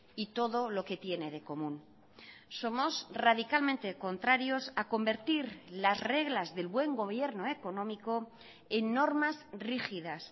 y todo lo que tiene de común somos radicalmente contrarios a convertir las reglas del buen gobierno económico en normas rígidas